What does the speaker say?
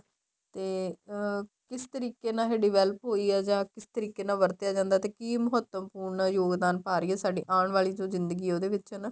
ਤੇ ਅਹ ਕਿਸ ਤਰੀਕ਼ੇ ਨਾਲ ਇਹ develop ਹੋਈ ਏ ਜਾ ਕਿਸ ਤਰੀਕ਼ੇ ਨਾਲ ਇਹ ਵਰਤਿਆਂ ਜਾਂਦਾ ਤੇ ਕੀ ਮਹੱਤਵਪੂਰਣ ਯੋਗਦਾਨ ਪਾ ਰਹੀ ਆ ਸਾਡੀ ਆਉਣ ਵਾਲੀ ਜੋ ਜ਼ਿੰਦਗੀ ਉਹਦੇ ਵਿੱਚ ਹਨਾ